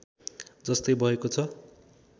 जस्तै भएको छ